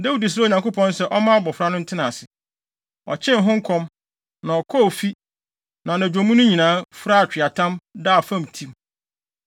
Dawid srɛɛ Onyankopɔn sɛ ɔmma abofra no ntena ase. Ɔkyen ho kɔm, na ɔkɔɔ fi, na anadwo mu no nyinaa, furaa atweaatam, daa fam tim.